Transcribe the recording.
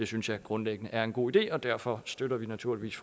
synes jeg grundlæggende er en god idé og derfor støtter vi naturligvis